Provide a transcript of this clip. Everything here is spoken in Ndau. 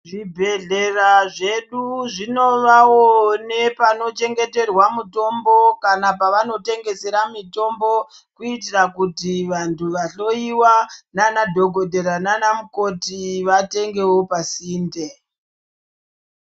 Zvibhedhlera zvedu zvinovawo nepanovhengeterwa mutombo kana pavanotengesera mutombo kuitira kuti vanhu vahloiwa nana dhokodhera nana mukoti vatengewo pasinde.